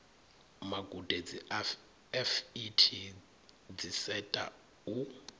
magudedzi a fet dziseta u